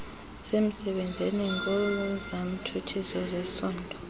semsebenzini ongenantshutshiso ngezesondo